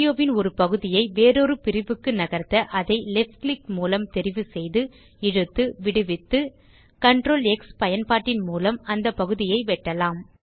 ஆடியோவின் ஒரு பகுதியை வேறொரு பிரிவுக்கு நகர்த்த அதை left கிளிக் மூலம் தெரிவு செய்து இழுத்து விடுவித்து CtrlX பயன்பாட்டின் மூலம் அந்தப் பகுதியை வெட்டலாம்